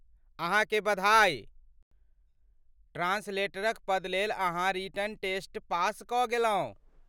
अहाँ के बधाई! ट्रान्सलेटरक पद लेल अहाँ रिटेन टेस्ट पास कऽ गेलहुँ।